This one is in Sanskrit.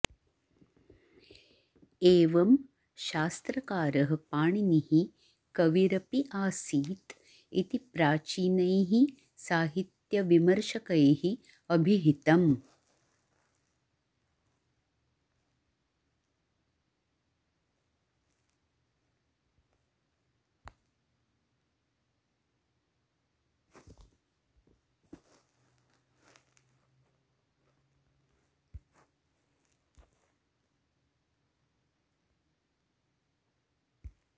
एवम् शास्त्रकारः पाणिनिः कविरपि आसीत् इति प्राचीनैः साहित्यविमर्शकैः अभिहितम्